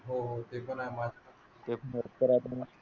आहेत.